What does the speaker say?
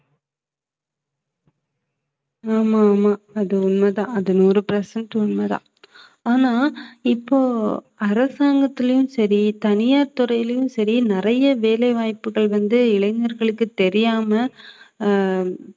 ஆமா ஆமா அது உண்மைதான். அது நூறு percent உண்மைதான் ஆனா இப்போ அரசாங்கத்திலேயும் சரி தனியார் துறையிலேயும் சரி நிறைய வேலை வாய்ப்புகள் வந்து இளைஞர்களுக்கு தெரியாம அஹ்